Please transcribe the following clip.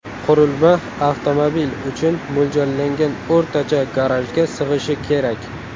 Qurilma avtomobil uchun mo‘ljallangan o‘rtacha garajga sig‘ishi kerak.